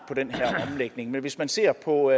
på den her omlægning men hvis man ser på